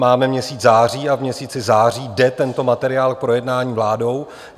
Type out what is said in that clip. Máme měsíc září a v měsíci září jde tento materiál k projednání vládou.